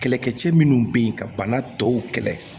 Kɛlɛkɛcɛ minnu be yen ka bana tɔw kɛlɛ